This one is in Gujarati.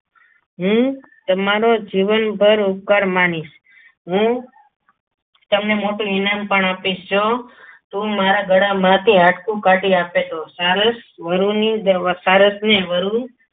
હું તમારો જીવનભર ઉપકાર માનીશ હું તમને મોઢું ઇનામ પણ આપીશ જો તું મારા ગળામાંથી હાડકું કાઢી આપે સારસ્વરુની સારસને વરુની સારસને વરુ